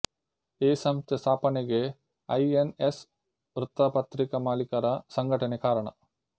ಈ ಸಂಸ್ಥೆ ಸ್ಥಾಪನೆಗೆ ಐ ಎನ್ ಎಸ್ ವೃತ್ತಪತ್ರಿಕಾ ಮಾಲೀಕರ ಸಂಘಟನೆ ಕಾರಣ